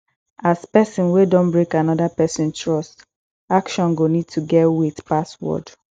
as person wey don break anoda person trust action go need to to get weight pass word